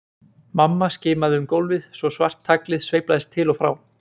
Mamma skimaði um gólfið svo svart taglið sveiflaðist til og frá.